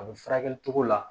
A bɛ furakɛli cogo la